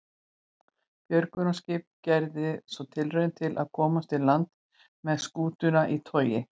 Björgunarskip gerði svo tilraun til að komast í land með skútuna í togi.